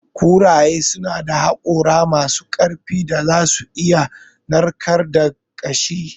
Kuraye suna da hakora masu ƙarfin da za su iya narkar da ƙashi.